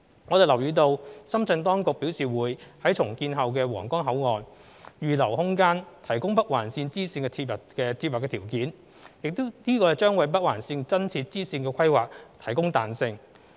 我們留意到深圳當局表示會於重建後的皇崗口岸預留空間，提供北環綫支綫接入的條件，這將為北環綫增設支綫的規劃提供彈性。